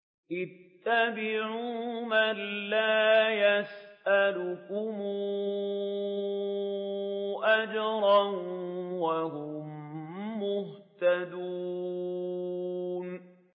اتَّبِعُوا مَن لَّا يَسْأَلُكُمْ أَجْرًا وَهُم مُّهْتَدُونَ